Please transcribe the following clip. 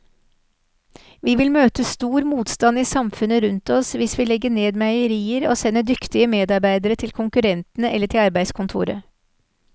Vi vil møte stor motstand i samfunnet rundt oss hvis vi legger ned meierier og sender dyktige medarbeidere til konkurrentene eller til arbeidskontoret.